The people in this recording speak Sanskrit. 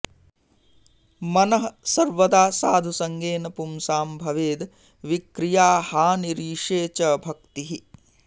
मनः सर्वदा साधुसङ्गेन पुंसां भवेद् विक्रियाहानिरीशे च भक्तिः